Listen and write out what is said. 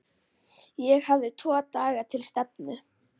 Ég hafði tvo daga til stefnu.